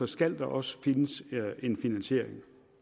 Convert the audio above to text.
skal der også findes en finansiering